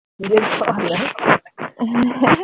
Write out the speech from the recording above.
কেবল ছয় হাজার